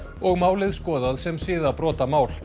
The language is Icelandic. og málið skoðað sem